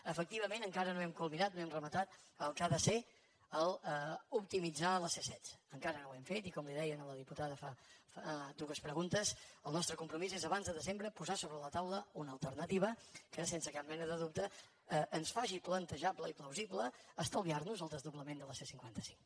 efectivament encara no hem culminat no hem rematat el que ha de ser optimitzar la c setze encara no ho hem fet i com li deia a la diputada fa dues preguntes el nostre compromís és abans de desembre posar a sobre la taula una alternativa que sense cap mena de dubte ens faci plantejable i plausible estalviar nos el desdoblament de la c cinquanta cinc